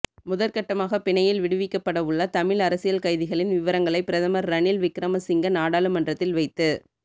முதற்கட்டமாக பிணையில் விடுவிக்கப்படவுள்ள தமிழ் அரசியல் கைதிகளின் விவரங்களை பிரதமர் ரணில் விக்கிரமசிங்க நாடாளுமன்றத்தில் வைத்து